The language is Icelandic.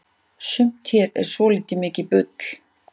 sumt hérna er svoltið mikið bull